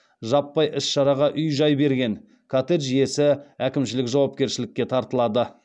жаппай іс шараға үй жай берген коттедж иесі әкімшілік жауапкершілікке тартылады